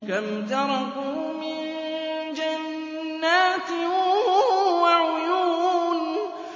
كَمْ تَرَكُوا مِن جَنَّاتٍ وَعُيُونٍ